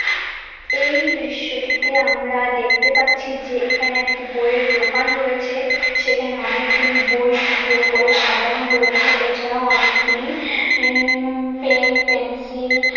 এই দৃশ্যটিতে আমরা দেখতে পাচ্ছি যে এখানে একটি বইয়ের দোকান রয়েছে |সেখানে অনেকগুলি বই সুন্দর করে সাজানো রয়েছে এছাড়াও অনেকগুলি উম পেন পেন্সিল --|